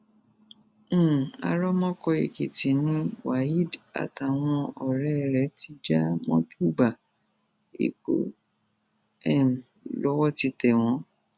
um arámọkọèkìtì ni waheed àtàwọn ọrẹ ẹ ti já mọtò gba èkó um lọwọ ti tẹ wọn